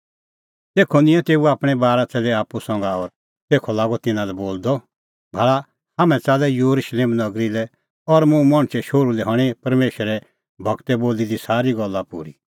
तेखअ निंयैं तेऊ आपणैं बारा च़ेल्लै आप्पू संघा और तेखअ लागअ तिन्नां लै बोलदअ भाल़ा हाम्हैं च़ाल्लै येरुशलेम नगरी लै और मुंह मणछे शोहरू लै हणीं परमेशरे गूरै बोली दी सारी गल्ला पूरी